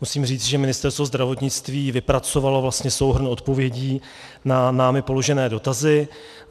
Musím říci, že Ministerstvo zdravotnictví vypracovalo vlastně souhrn odpovědí na námi položené dotazy.